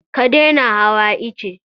Ka daina hawa ice!